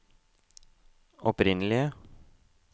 opprinnelige